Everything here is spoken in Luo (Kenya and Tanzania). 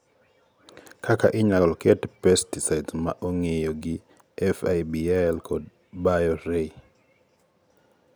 kaka inyalo ket pesticides ma ong; iyo gi FIBL kod BioRe(2014)